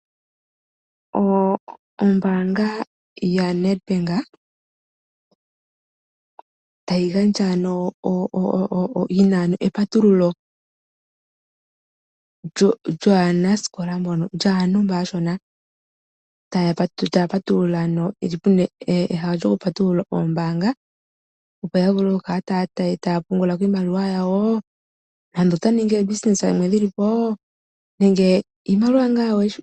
Ombaanga yoNedbank oyina epatululo lyaantu mba aashona pena epatululo nande olyo ku ninga oongeshefa dhawo.